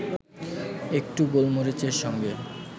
একটু গোলমরিচের সঙ্গে